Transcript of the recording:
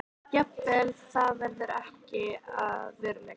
Jafnvel það verður ekki að veruleika.